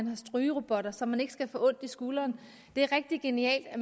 er strygerobotter så man ikke skal få ondt i skulderen det er rigtig genialt at